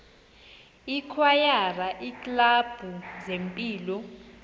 ikwayara iiklabhu zempilo